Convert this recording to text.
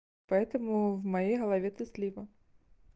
поэтому в моей голове ты слива